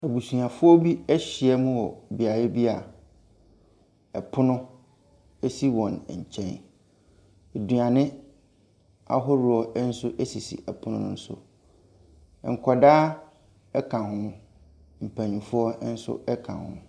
Abusuafoɔ bi ahyia mu wɔ beaeɛ bi a ɛpono si wɔn nkyɛn. Aduane ahodoɔ nso sisi ɛpono no so. Nkwadaa ka ho. Mpanimfoɔ nso ka ho.